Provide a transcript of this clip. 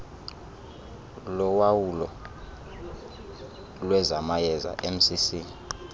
lowawulo lwezamayeza mcc